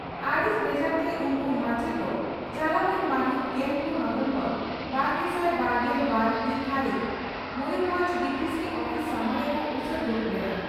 ᱟᱹᱲᱤᱥ ᱵᱮᱡᱟᱨᱛᱮ ᱩᱱᱠᱩ ᱢᱟᱪᱮᱛ ᱫᱚ ᱪᱟᱞᱟᱣ ᱮᱱ ᱢᱟᱹᱦᱤᱛ ᱜᱮᱞᱯᱩᱱ ᱱᱚᱵᱷᱮᱢᱵᱚᱨ ᱵᱟᱨᱜᱮᱥᱟᱭ ᱵᱟᱨᱜᱮᱞ ᱵᱟᱨ ᱦᱤᱛ ᱫᱷᱟᱹᱨᱤᱡ ᱢᱚᱭᱩᱨᱵᱷᱚᱸᱡᱽ ᱰᱤᱹᱯᱤᱹᱥᱤ ᱩᱯᱤᱥ ᱥᱟᱢᱟᱝ ᱨᱮᱠᱚ ᱩᱥᱟᱹᱫᱽ ᱫᱩᱲᱩᱵ ᱞᱮᱱᱟ ᱾